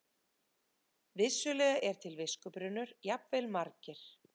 Vissulega er til viskubrunnur, jafnvel margir.